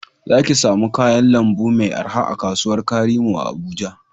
Za ki samu kayan lambu mai araha a kasuwar karimo a Abuja